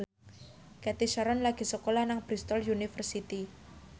Cathy Sharon lagi sekolah nang Bristol university